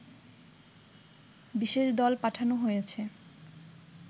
বিশেষ দল পাঠানো হয়েছে